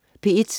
P1: